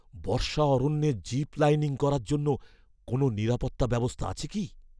বর্ষা অরণ্যে zip lining করার জন্য কোনো নিরাপত্তা ব্যবস্থা আছে কি?